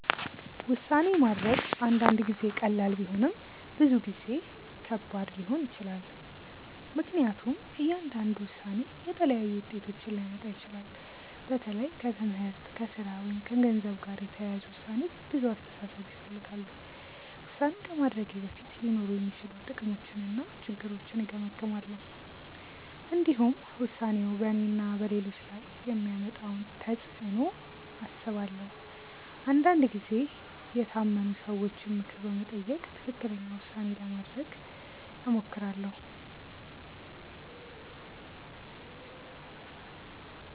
ውሳኔ ማድረግ አንዳንድ ጊዜ ቀላል ቢሆንም ብዙ ጊዜ ከባድ ሊሆን ይችላል። ምክንያቱም እያንዳንዱ ውሳኔ የተለያዩ ውጤቶችን ሊያመጣ ይችላል። በተለይ ከትምህርት፣ ከሥራ ወይም ከገንዘብ ጋር የተያያዙ ውሳኔዎች ብዙ አስተሳሰብ ይፈልጋሉ። ውሳኔ ከማድረጌ በፊት ሊኖሩ የሚችሉ ጥቅሞችንና ችግሮችን እገመግማለሁ። እንዲሁም ውሳኔው በእኔና በሌሎች ላይ የሚያመጣውን ተፅዕኖ አስባለሁ። አንዳንድ ጊዜ የታመኑ ሰዎችን ምክር በመጠየቅ ትክክለኛ ውሳኔ ለማድረግ እሞክራለሁ.